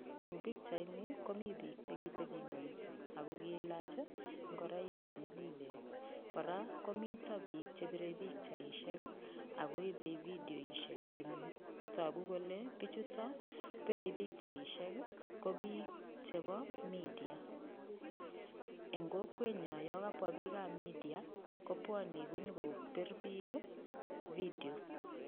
Eng pichaini komi piik che kiteping'wenso ako kiilach ng'oroik che nyalilen. Kora komito piik che pirei pichaishek, ako ipei vidioishe engyu. Tagu kole piichutok pirei pichaishek ko piik chebo media. Eng kokwenyo, yo kapwa piikab media kopwoni nyikopir piik vidio.